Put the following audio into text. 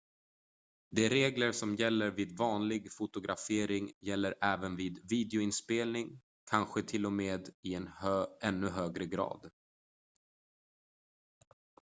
de regler som gäller vid vanlig fotografering gäller även vid videoinspelning kanske till och med i ännu högre grad